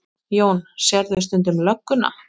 Jón: Sérðu stundum lögguna?